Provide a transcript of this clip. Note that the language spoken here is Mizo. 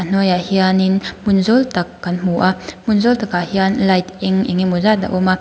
hnuaiah hianin hmun zawk tak kan hmu a hmun zawk takah hian light eng eng emaw zat a awm a.